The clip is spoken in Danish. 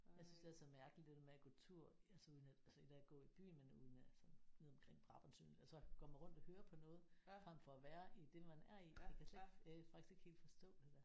Jeg synes det er så mærkeligt det der med at gå tur altså ude i altså et er at gå i byen men at ude i altså nede omkring Brabrand Sø altså går man rundt og hører på noget fremfor at være i det man er i jeg kan slet ikke jeg kan faktisk ikke helt forstå det der